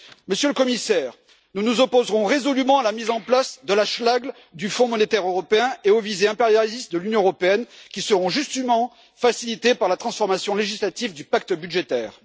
Monsieur le Commissaire, nous nous opposerons résolument à la mise en place de la schlague du fonds monétaire européen et aux visées impérialistes de l'Union européenne, qui seront justement facilitées par la transformation législative du pacte budgétaire.